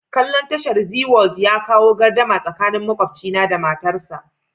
Kalla'n tashar Zee world ya kawo gardama tsakanin makwabcina da matarsa.